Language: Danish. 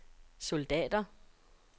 soldater